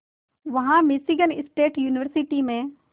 वहां Michigan State University में